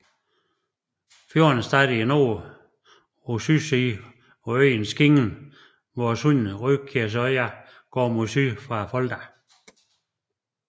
Fjorden starter i nord på sydsiden af øen Skingen hvor sundet Rekkøyråsa går mod syd fra Folda